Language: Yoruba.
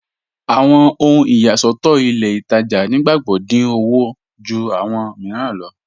Awọn ohun iyàṣọ̀tọ̀ ilẹ̀ Ìtajà̀ nígbàgbọ́ dín ọwọ̀ jù awọn míìràn lọ.